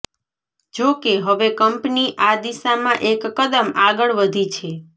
જોકે હવે કંપની આ દિશામાં એક કદમ આગળ વધી છે